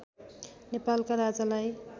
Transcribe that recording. नेपालका राजालाई